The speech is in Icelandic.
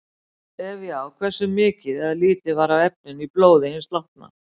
Ef já, hversu mikið eða lítið var af efninu í blóði hins látna?